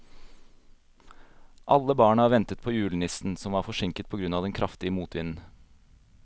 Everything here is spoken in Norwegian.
Alle barna ventet på julenissen, som var forsinket på grunn av den kraftige motvinden.